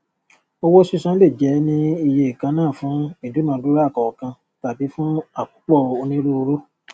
owó sísan lè jẹ ní ìye kannafún ìdúnàdúra kọọkan tabí fún àkópọ onírúurú